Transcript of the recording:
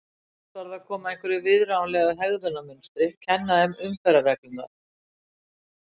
Fyrst varð að koma á einhverju viðráðanlegu hegðunarmunstri, kenna þeim umferðarreglurnar.